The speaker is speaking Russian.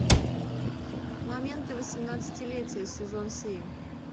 моменты восемнадцатилетия сезон семь